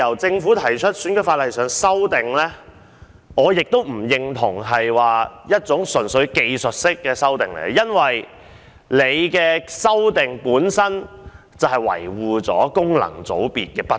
政府提出的《條例草案》，我不認為純屬是技術修訂，因為修訂本身就維護了功能界別的不義。